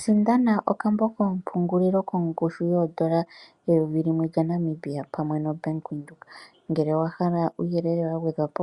Sindanda okambo koompungulilo kongushu yoondola eyovi limwe lyaNamibia pamwe nombaanga yaWindhoek. Ngele owahala uuyelele wagwedhapo